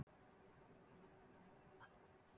Hvenær áttu von á því að þú komir aftur til starfa?